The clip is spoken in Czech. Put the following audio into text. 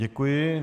Děkuji.